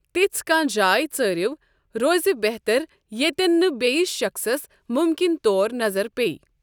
تِژھ کانٛہہ جاے ژارو روزِ بہتر ییٚتٮ۪ن نہٕ بیِٛس شخٕصس مُمکِن طور نظر پیٚیہِ ۔